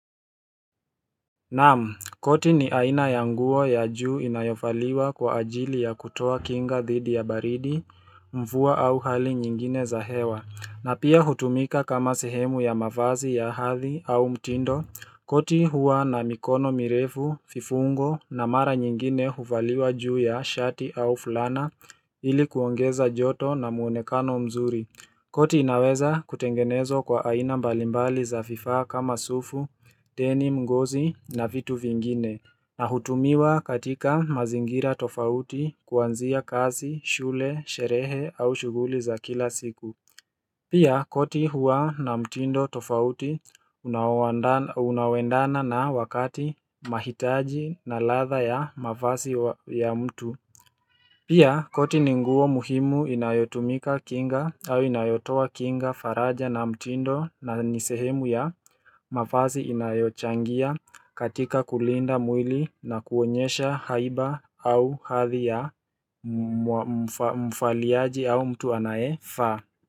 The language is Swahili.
Naam, koti ni aina ya nguo ya juu inayovaliwa kwa ajili ya kutoa kinga dhidi ya baridi Mvua au hali nyingine za hewa. Na pia hutumika kama sehemu ya mavazi ya hadhi au mtindo. Koti huwa na mikono mirefu, vifungo na mara nyingine huvaliwa juu ya shati au fulana ili kuongeza joto na muonekano mzuri koti inaweza kutengenezwa kwa aina mbalimbali za vifaa kama sufu, denim, ngozi na vitu vingine. Na hutumiwa katika mazingira tofauti kuanzia kazi, shule, sherehe au shughuli za kila siku Pia koti huwa na mtindo tofauti unaoendana na wakati mahitaji na ladha ya mavasi ya mtu Pia koti ni nguo muhimu inayotumika kinga au inayotoa kinga faraja na mtindo na ni sehemu ya mavazi inayochangia katika kulinda mwili na kuonyesha haiba au hadhi ya mvaliaji au mtu anayevaa.